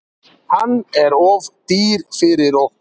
Hann er of dýr fyrir okkur.